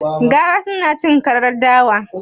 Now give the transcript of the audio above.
Gara tana cin karar dawa?